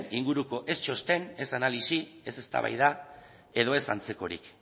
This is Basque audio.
inguruko ez txosten ez analisi ez eztabaida edo ez antzekorik